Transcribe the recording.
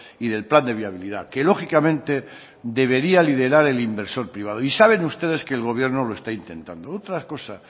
y del plan de viabilidad que lógicamente debería liderar el inversor privado y saben ustedes que el gobierno lo está intentando otra cosa